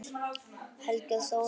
Helgi og Þórunn.